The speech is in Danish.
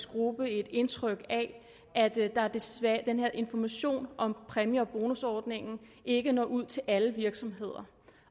gruppe et indtryk af at den her information om præmie og bonusordningen ikke når ud til alle virksomheder